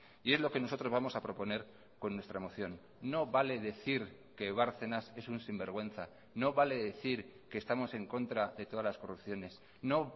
y es lo que nosotros vamos a proponer con nuestra moción no vale decir que bárcenas es un sinvergüenza no vale decir que estamos en contra de todas las corrupciones no